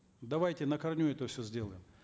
давайте на корню это все сделаем